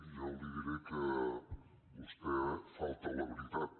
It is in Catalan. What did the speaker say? jo li diré que vostè falta a la veritat